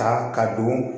Ta ka don